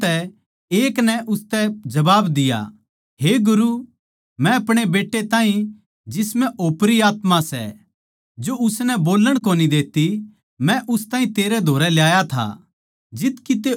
भीड़ म्ह तै एक नै उसतै जबाब दिया हे गुरू मै आपणे बेट्टे ताहीं जिसम्ह ओपरी आत्मा बड़री सै जो उसनै बोल्लण कोनी देती मै उस ताहीं तेरै धोरै ल्याया था